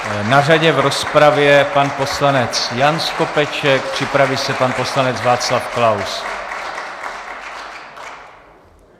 Na řadě v rozpravě pan poslanec Jan Skopeček, připraví se pan poslanec Václav Klaus.